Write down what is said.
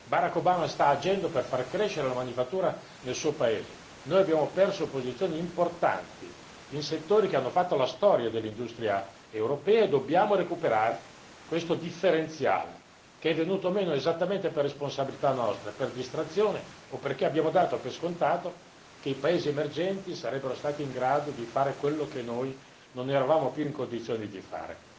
Barack Obama sta agendo per far crescere la manifattura nel suo paese. Noi abbiamo perso posizioni importanti in settori che hanno fatto la storia dell'industria europea e dobbiamo recuperare questo differenziale che è venuto meno esattamente per responsabilità nostra, per distrazione o perché abbiamo dato per scontato che i paesi emergenti sarebbero stati in grado di fare quello che noi non eravamo più in condizioni di fare.